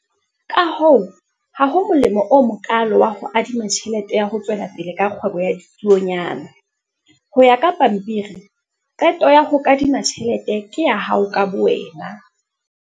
Ka hoo, ha ho molemo o mokaalo wa ho adima tjhelete ya ho tswela pele ka kgwebo ya ditsuonyana. Ho ya ka pampiri, qeto ya ho kadima tjhelete ke ya hao ka bowena.